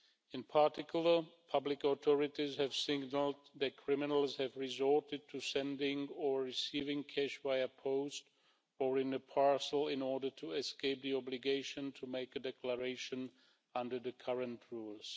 In particular, public authorities have noted that criminals have resorted to sending or receiving cash via post, or in a parcel, in order to escape the obligation to make a declaration under the current rules.